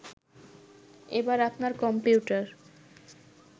এবার আপনার কম্পিউটার